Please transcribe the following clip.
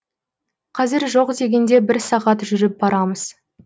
қазір жоқ дегенде бір сағат жүріп барамыз